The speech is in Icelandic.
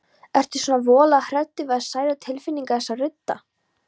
Ertu svona voðalega hræddur við að særa tilfinningar þessa rudda?